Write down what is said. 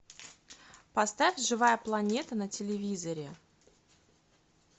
поставь живая планета на телевизоре